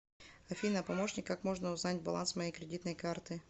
афина помощник как можно узнать баланс моей кредитной карты